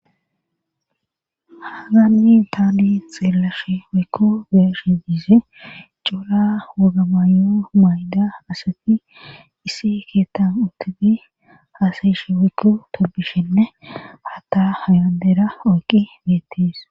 Haagani taani xeelashshe waykko beeshi de'is cora wogga maayo mayda asatti issi keettan uttudi haasayishe waykku tobishenne hata haylandeera oyqi beettis